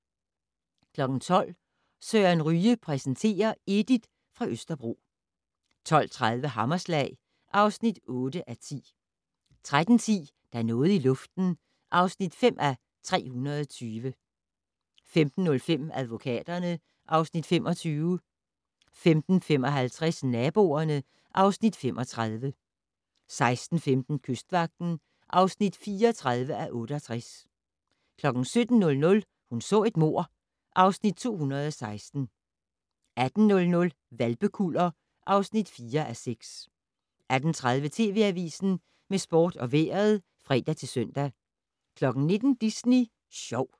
12:00: Søren Ryge præsenterer: Edith fra Østerbro 12:30: Hammerslag (8:10) 13:10: Der er noget i luften (5:320) 15:05: Advokaterne (Afs. 25) 15:55: Naboerne (Afs. 35) 16:15: Kystvagten (34:68) 17:00: Hun så et mord (Afs. 216) 18:00: Hvalpekuller (4:6) 18:30: TV Avisen med sport og vejret (fre-søn) 19:00: Disney Sjov